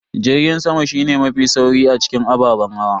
Jirgin sama shine mafi sauri a cikin ababen hawa.